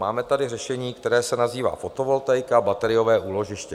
Máme tady řešení, které se nazývá fotovoltaika, bateriové úložiště.